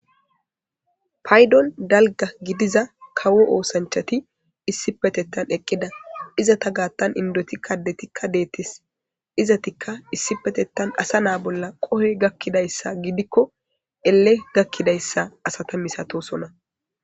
Paydon dalga gidiza kawo oosanchati issipetettan eqqida iza ta gaattan indotikka detikka deetis izatikka issipetettan asa naa bolla qohe gakkidayssa gidikko elle gakkidayssa asata misatosona.